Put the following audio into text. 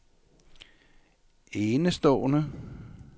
enestående